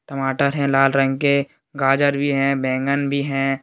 टमाटर है लाल रंग के गाजर भी हैं बैगन भी हैं।